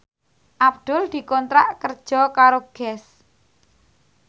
Abdul dikontrak kerja karo Guess